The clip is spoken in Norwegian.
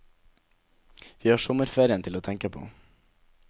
Vi har sommerferien til å tenke på.